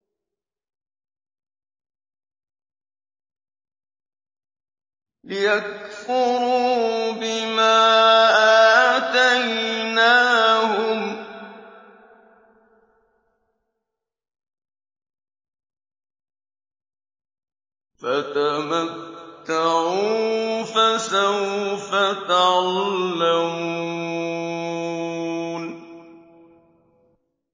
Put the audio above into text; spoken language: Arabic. لِيَكْفُرُوا بِمَا آتَيْنَاهُمْ ۚ فَتَمَتَّعُوا ۖ فَسَوْفَ تَعْلَمُونَ